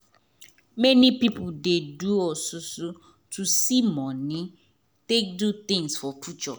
many pipo dey do osusu to see moni to take do tins for future